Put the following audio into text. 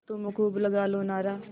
तुम खूब लगा लो नारा